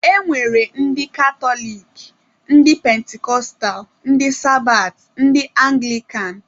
E nwere ndị katọlik, ndị pentikọstal, ndị sabat, ndị anglikan wdg.